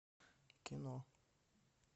кино